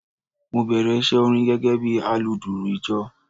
Mo bèrè iṣẹ́ orin gẹ́gẹ́ bí aludùrù ìjọ.